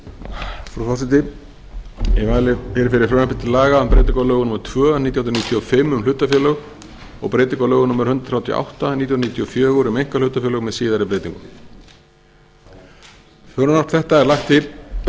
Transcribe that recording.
virðulegi forseti ég mæli hér fyrir frumvarpi til laga um breytingu á lögum númer tvö nítján hundruð níutíu og fimm um hlutafélög og breytingu á lögum númer hundrað þrjátíu og átta nítján hundruð níutíu og fjögur um einkahlutafélög með síðari breytingum frumvarp þetta er